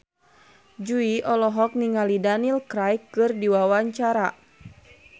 Jui olohok ningali Daniel Craig keur diwawancara